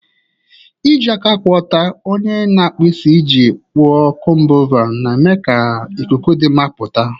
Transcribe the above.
N'iji aka kwụ ọtọ, onye na-akpụ isi ji kpụọ comb-over, na-eme ka ikuku dị mma pụta ìhè.